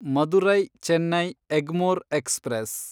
Madurai Chennai Egmore express